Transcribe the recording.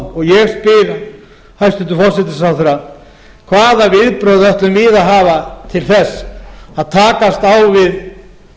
tonn ég spyr hæstvirtur forsætisráðherra hvaða viðbrögð ætlum við að hafa til þess að takast á við